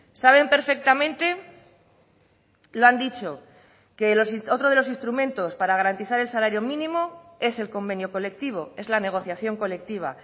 saben perfectamente lo han dicho que otro de los instrumentos para garantizar el salario mínimo es el convenio colectivo es la negociación colectiva